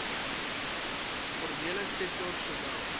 formele sektor sowel